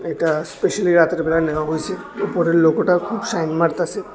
এটা স্পেশালি রাতের বেলা নেওয়া হইসে উপরের লোগোটা খুব সাইন মারতাসে।